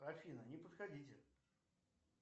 афина не подходите